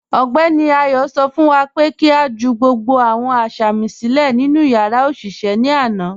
Ọgbẹní Ayọ̀ sọ fún wá pé kí a jù gbogbo awọn asámì silẹ̀ nínu yàrá oṣiṣẹ̀ ní àna.